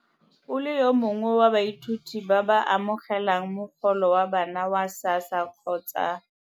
O le yo mongwe wa baithuti ba ba amogelang mogolo wa bana wa SASSA kgotsa.